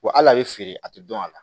Wa hali a bɛ feere a tɛ dɔn a la